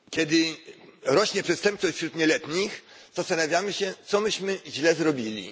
Kiedy rośnie przestępczość wśród nieletnich, zastanawiamy się, co myśmy źle zrobili.